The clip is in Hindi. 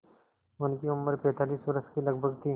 उनकी उम्र पैंतालीस वर्ष के लगभग थी